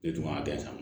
E dun b'a bɛɛ san